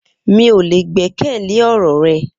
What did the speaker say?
Mi o le gbẹkẹle ọ̀rọ̀ rẹ